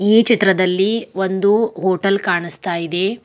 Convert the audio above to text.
ಈ ಚಿತ್ರದಲ್ಲಿ ಒಂದು ಹೋಟೆಲ್ ಕಾಣಿಸ್ತಾ ಇದೆ.